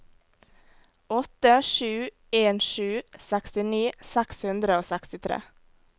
åtte sju en sju sekstini seks hundre og sekstitre